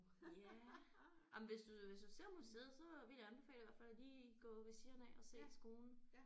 Ja jamen hvis du hvis du ser museet så vil jeg anbefale i hvert fald at lige gå ved siden af og se skolen